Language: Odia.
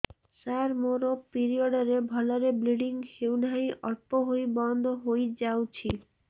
ସାର ମୋର ପିରିଅଡ଼ ରେ ଭଲରେ ବ୍ଲିଡ଼ିଙ୍ଗ ହଉନାହିଁ ଅଳ୍ପ ହୋଇ ବନ୍ଦ ହୋଇଯାଉଛି